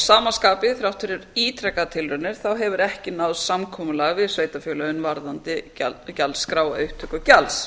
sama skapi þrátt fyrir ítrekaðar tilraunir þá hefur ekki náðst samkomulag við sveitarfélögin varðandi gjaldskrá eða upptöku gjalds